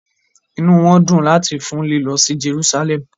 Inu won di lati fun lilo si Jerusalem